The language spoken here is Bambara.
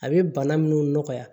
A bɛ bana minnu nɔgɔya